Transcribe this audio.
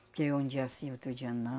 Porque um dia sim, outro dia não.